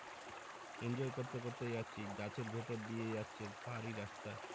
enjoy করতে করতেই যাচ্ছি গাছের ভিতর দিয়েই যাচ্ছে পাহাড়ি রাস্তা